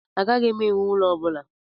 Agaghị m ewu ụlo ọ bula